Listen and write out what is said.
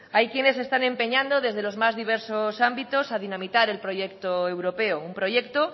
hay quienes se están empeñando desde los más diversos ámbitos a dinamitar el proyecto europeo un proyecto